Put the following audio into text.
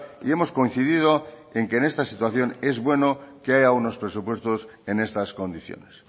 y hemos coincidido en que en esta situación es bueno que haya unos presupuestos en estas condiciones